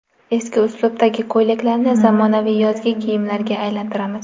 Eski uslubdagi ko‘ylaklarni zamonaviy yozgi kiyimlarga aylantiramiz .